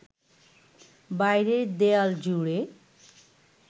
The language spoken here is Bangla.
বাইরের দেয়াল জুড়ে